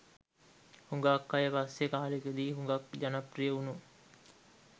හුඟාක් අය පස්සේ කාලෙදි හුඟාක් ජනප්‍රිය වුණු